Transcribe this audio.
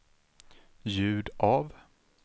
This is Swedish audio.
ljud av